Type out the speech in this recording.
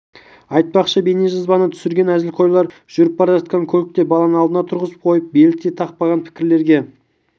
айтпақшы бейнежазбаны түсірген әзілқойлар жүріп бара жатқан көлікте баланы алдына тұрғызып қойып белдік те тақпаған пікірлерге